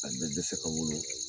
A bɛ dɛsɛ ka wolo